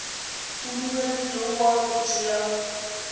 a dumeletšwego wa go thea